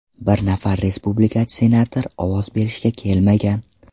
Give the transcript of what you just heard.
Bir nafar respublikachi senator ovoz berishga kelmagan.